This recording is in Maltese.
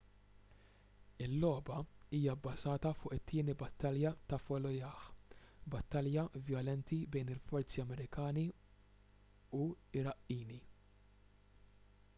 il-logħba hija bbażata fuq it-tieni battalja ta' fallujah battalja vjolenti bejn il-forzi amerikani u iraqqini